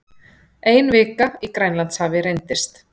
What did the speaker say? Ein vika í Grænlandshafi reyndist